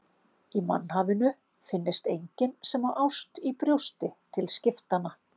Að í mannhafinu finnist enginn sem á ást í brjósti til skiptanna.